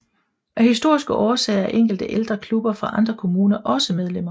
Af historiske årsager er enkelte ældre klubber fra andre kommuner også medlemmer